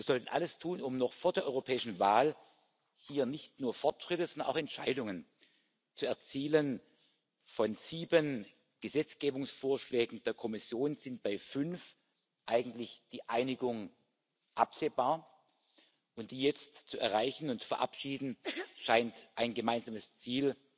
Wir sollten alles tun, um noch vor der europäischen Wahl hier nicht nur Fortschritte, sondern auch Entscheidungen zu erzielen. Von sieben Gesetzgebungsvorschlägen der Kommission ist bei fünf eigentlich die Einigung absehbar, und die jetzt zu erreichen und zu verabschieden, scheint ein gemeinsames Ziel